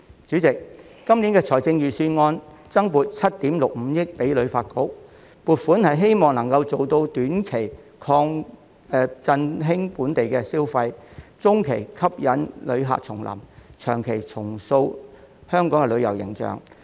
主席，今年財政預算案增撥了7億 6,500 萬元予香港旅遊發展局，希望能夠做到短期振興本地消費、中期吸引旅客重臨、長期重塑旅遊形象。